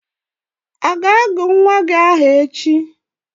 A ga-agọ nwa gị aha echi?